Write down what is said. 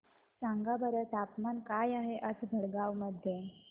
सांगा बरं तापमान काय आहे आज भडगांव मध्ये